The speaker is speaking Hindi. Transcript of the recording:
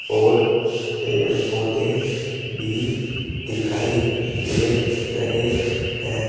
और पेड़ पौधे भी दिखाई दे रहे हैं।